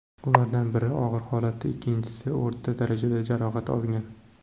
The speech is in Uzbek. Ulardan biri og‘ir holatda, ikkinchisi o‘rta darajada jarohat olgan.